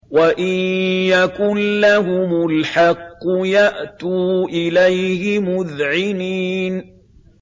وَإِن يَكُن لَّهُمُ الْحَقُّ يَأْتُوا إِلَيْهِ مُذْعِنِينَ